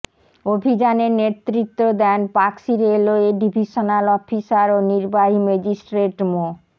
অভিযানে নেতৃত্ব দেন পাকশী রেলওয়ের ডিভিশনাল অফিসার ও নির্বাহী ম্যাজিস্ট্রেট মো